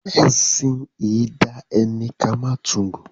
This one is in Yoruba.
Ẹṣin e e da ẹní ká má tún gún.